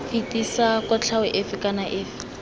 fetisa kotlhao efe kana efe